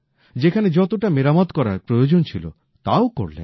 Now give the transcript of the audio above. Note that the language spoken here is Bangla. যেখানে যতোটা মেরামত করার প্রয়োজন ছিল তাও করলেন